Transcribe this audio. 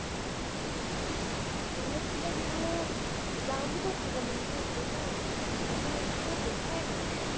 বেলেগ কিবা দিবলৈ দামোতো চাব লাগিব। পইছা উ উ পইছা উথোৱা উথাই নাই